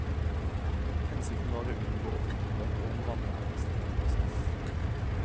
Hensikten var å unngå offentlighet og en vanærende straffeprosess.